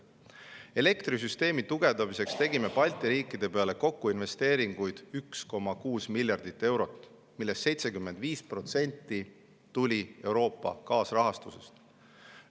Elektrisüsteemi tugevdamiseks tegime Balti riikide peale kokku 1,6 miljardit eurot investeeringuid, millest 75% tuli Euroopa kaasrahastusest.